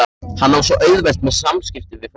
Hann á svo auðvelt með samskipti við fólk.